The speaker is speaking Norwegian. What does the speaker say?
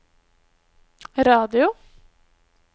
radio